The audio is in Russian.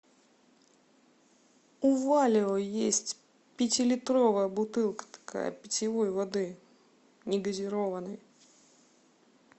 у валио есть пятилитровая бутылка такая питьевой воды негазированной